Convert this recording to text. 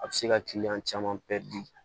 A bɛ se ka kiliyan caman